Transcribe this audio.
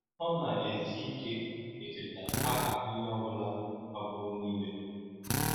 Ọ na-ezi ike icheta aha onye ọ bula magburu niile.